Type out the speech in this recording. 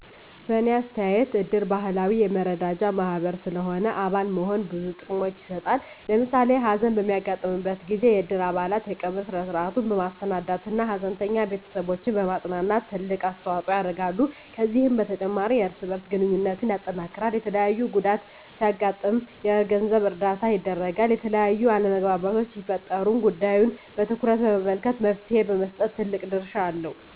በእኔ አስተያየት እድር ባህላዊ የመረዳጃ ማህበር ስለሆነ አባል መሆን ብዙ ጥቅሞችን ይሰጣል። ለምሳሌ ሀዘን በሚያጋጥምበት ጊዜ የእድር አባላት የቀብር ስነ-ስርዐቱን በማሰናዳት እና ሀዘንተኛ ቤተስቦችን በማፅናናት ትልቅ አስተዋጽኦ ያደርጋሉ። ከዚህም በተጨማሪ የእርስ በእርስ ግንኙነትን ያጠናክራል፣ የተለያየ ጉዳት ሲያጋጥም የገንዘብ እርዳታ ያደርጋል፣ የተለያዩ አለመግባባቶች ሲፈጠሩም ጉዳዩን በትኩረት በመመልከት መፍትሔ በመስጠት ትልቅ ድርሻ አለው።